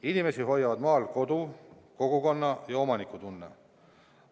Inimesi hoiavad maal kodu, kogukonna- ja omanikutunne.